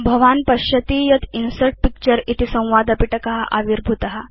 भवान् पश्यति यत् इन्सर्ट् पिक्चर इति संवादपिटक आविर्भूत